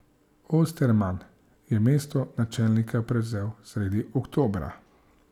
Osterman je mesto načelnika prevzel sredi oktobra.